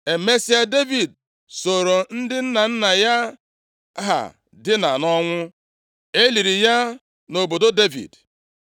Emesịa, Devid sooro ndị nna nna ya ha dina nʼọnwụ. E liri ya na obodo Devid.